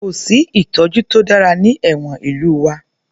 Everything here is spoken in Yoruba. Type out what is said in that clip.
Kò sí ìtọ́jú to dára ní ẹ̀wọ̀n ìlú wa